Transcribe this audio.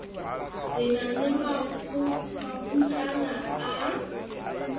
re na le makgutlana a